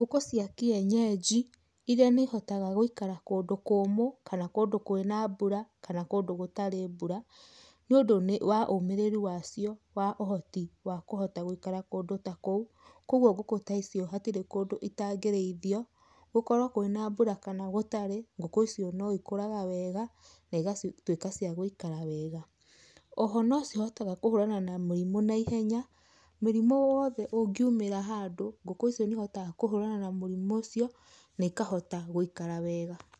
Ngũkũ cia kienyeji, iria nĩ ihotaga gũikara kũndũ kũmũ, kana kũndũ kwĩna mbura kana kũndũ gũtarĩ mbura, nĩ ũndũ wa ũmĩrĩru wacio, wa ũhoti wa kũhota gũikara kũndũ ta kũu, kogwo ngũkũ ta icio hatirĩ kũndũ itangĩrĩithio, gũkorwo kwĩna mbura kana gutarĩ, ngũkũ icio no ikũraga wega na igatuĩka cia gũikara wega. Oho no cihotaga kũharana na mũrimũ na ihenya, mũrimũ o wothe ũngĩumĩra handũ, ngũkũ icio nĩ ihotaga kũhũrana na mũrimũ ũcio na ikahota gũikara wega.